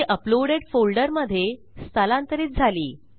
ती uploaded folder मधे स्थलांतरित झाली